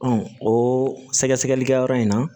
o sɛgɛsɛgɛlikɛyɔrɔ in na